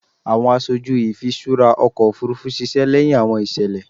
Awọn aṣoju ifiṣura ọkọ ofurufu ṣiṣẹ lẹhin awọn iṣẹlẹ